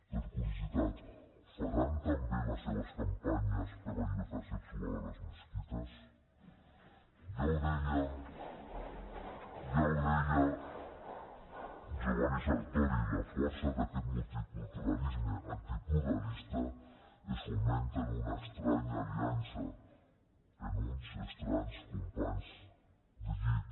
per curiositat faran també les seves campanyes per la llibertat sexual a les mesquites d’aquest multiculturalisme antipluralista es fomenta en una estranya aliança en uns estranys companys de llit